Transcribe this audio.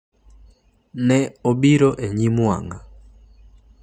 Ne obiro e nyim wang’a.